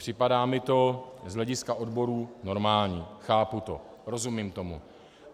Připadá mi to z hlediska odborů normální, chápu to, rozumím tomu.